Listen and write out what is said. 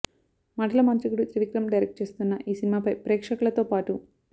మాటల మాంత్రికుడు త్రివిక్రమ్ డైరెక్ట్ చేస్తున్న ఈ సినిమాపై ప్రేక్షకులతో పాటు